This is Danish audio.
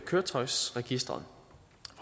køretøjsregisteret